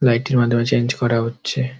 Light -টির মাধ্যমে change করা হচ্ছে।